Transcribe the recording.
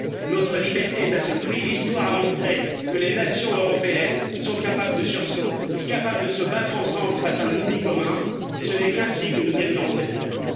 Notre liberté est à ce prix. L'Histoire a montré que les nations européennes sont capables de sursaut, capables de se battre ensemble face à un ennemi commun, ce n'est qu'ainsi que nous gagnerons cette guerre.